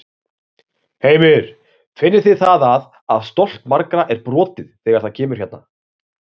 Heimir: Finnið þið það að, að stolt margra er brotið þegar það kemur hérna?